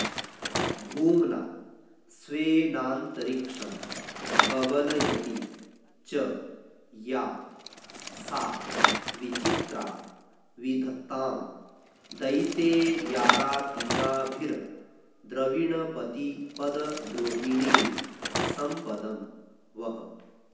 भूम्ना स्वेनान्तरिक्षं कबलयति च या सा विचित्रा विधत्तां दैतेयारातिनाभिर्द्रविणपतिपदद्रोहिणीं सम्पदं वः